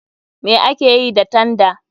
Me akeyi ta tanda?